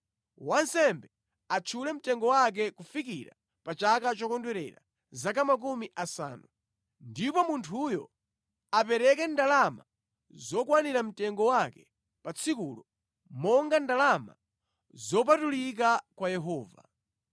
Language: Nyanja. wansembe atchule mtengo wake kufikira pa chaka chokondwerera zaka makumi asanu, ndipo munthuyo apereke ndalama zokwanira mtengo wake pa tsikulo monga ndalama zopatulika kwa Yehova.